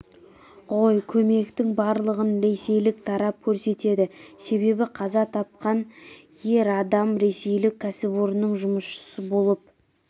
ғой көмектің барлығын ресейлік тарап көрсетеді себебі қаза тапқан ер адам ресейлік кәсіпорынның жұмысшысы болып